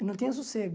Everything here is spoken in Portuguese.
Eu não tinha sossego.